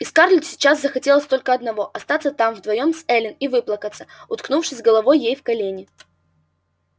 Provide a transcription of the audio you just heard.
и скарлетт сейчас хотелось только одного остаться там вдвоём с эллин и выплакаться уткнувшись головой ей в колени